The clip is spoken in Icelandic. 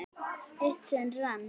Eitt sinn rann